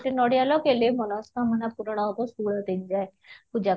ନଡ଼ିଆ ଲଗେଇଲେ ମନସ୍କାମନା ପୂରଣ ହେବ ଷୋହଳ ଦିନ ଯାଏ ପୂଜା